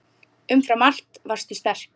Umfram allt varstu sterk.